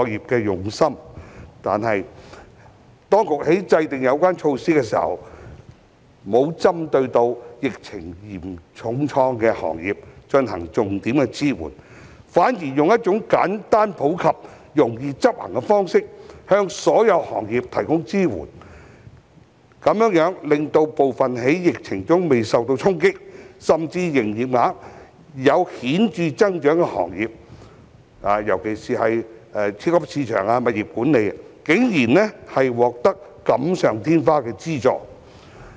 但是，當局在制訂有關措施時，未有重點支援受疫情重創的行業，反而以一種簡單普及、易於執行的方式，向所有行業提供支援，這樣令部分在疫情中未受衝擊，甚至營業額有顯著增長的行業，尤其是超級市場、物業管理，竟然獲得錦上添花的資助。